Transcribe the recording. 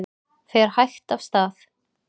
Fer hægt af stað